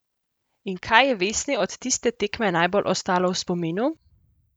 In kaj je Vesni od tiste tekme najbolj ostalo v spominu?